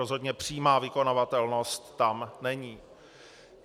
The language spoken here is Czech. Rozhodně přímá vykonavatelnost tam není.